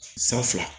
San fila